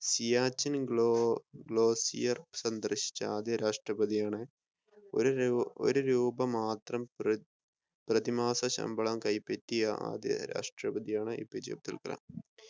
ഹിയാച്ചിന് glo glacier സന്ദർശിച്ച ആദ്യ രാഷ്‌ട്രപ്രതിയാണ് ഒരു രൂ ഒരു രൂപ മാത്രം പ്ര പ്രതിമാസ ശമ്പളം കൈപ്പറ്റിയ ആദ്യ രാഷ്‌ട്രപ്രതിയാണ് എപിജെ അബ്ദുൽ കലാം